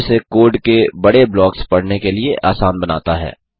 जो इसे कोड के बड़े ब्लॉक्स पढ़ने के लिए आसान बनाता है